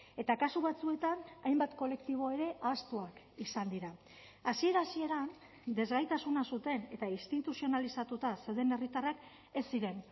eta kasu batzuetan hainbat kolektibo ere ahaztuak izan dira hasiera hasieran desgaitasuna zuten eta instituzionalizatuta zeuden herritarrak ez ziren